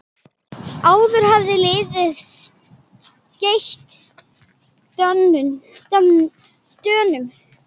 Áður hafði liðið skellt Dönum.